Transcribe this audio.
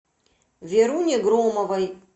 веруне громовой